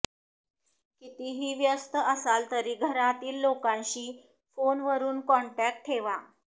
कितीही व्यस्त असाल तरी घरातील लोकांशी फोनवरून कॉन्टॅक्ट ठेवा